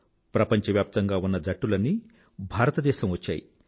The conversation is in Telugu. ప్రపంచవ్యాప్తంగా ఉన్న జట్టులన్నీ భారతదేశం వచ్చాయి